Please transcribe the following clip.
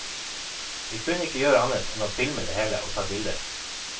Vi kunne ikke gjøre annet enn å filme det hele og ta bilder.